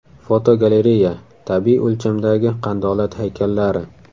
Fotogalereya: Tabiiy o‘lchamdagi qandolat haykallari.